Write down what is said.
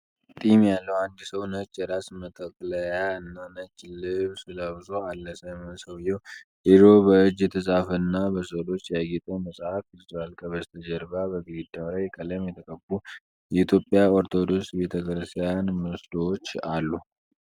ጢም ያለው አንድ ሰው ነጭ የራስ መጠቅለያ እና ነጭ ልብስ ለብሶ አለ። ሰውየው የድሮ በእጅ የተጻፈና በሥዕሎች ያጌጠ መጽሐፍ ይዟል። ከበስተጀርባ በግድግዳው ላይ ቀለም የተቀቡ የኢትዮጵያ ኦርቶዶክስ ቤተ ክርስቲያን ምስሎች አሉ።